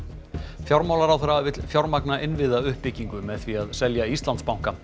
fjármálaráðherra vill fjármagna innviðauppbygginu með því að selja Íslandsbanka